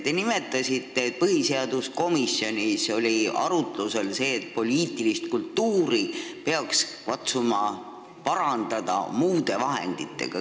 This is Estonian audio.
Te nimetasite, et põhiseaduskomisjonis oli arutlusel see, et poliitilist kultuuri peaks katsuma parandada muude vahenditega.